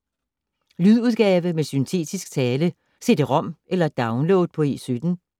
Lydudgave med syntetisk tale: Cd-rom eller download på E17